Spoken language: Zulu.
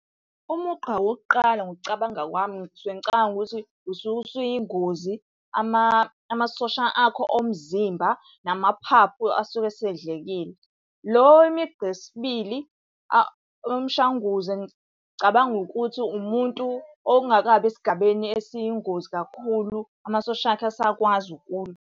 Umugqa wokuqala ngokucabanga kwami, ngisuke ngicabanga ukuthi usuke usuyingozi amasosha akho omzimba namaphaphu asuke esedlekile. Lo imigqa yesibili umshanguze ngicabanga ukuthi umuntu ongakabi esigabeni esiyingozi kakhulu, amasosha akhe asakwazi, ukulwa.